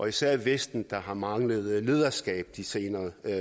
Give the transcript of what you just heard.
især vesten har manglet lederskab de senere